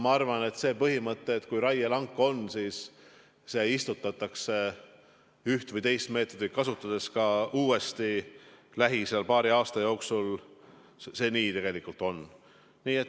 Ma arvan, et see põhimõte, et kui on raielank, siis see istutatakse üht või teist meetodit kasutades lähiajal, paari aasta jooksul uuesti täis, nii tegelikult ka on.